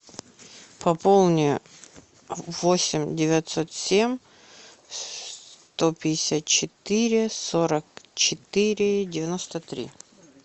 пополни восемь девятьсот семь сто пятьдесят четыре сорок четыре девяносто три